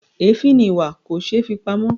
Èéfín ni ìwà; kò ṣeé fi pamọ́.